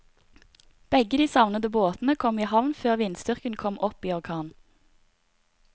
Begge de savnede båtene kom i havn før vindstyrken kom opp i orkan.